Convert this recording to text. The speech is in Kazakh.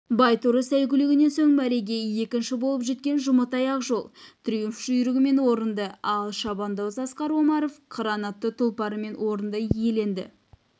байторы сәйгүлігінен соң мәреге екінші болып жеткен жұматай ақжол триумф жүйрігімен орынды ал шабандоз асқар омаров қыран атты тұлпарымен орынды иеленді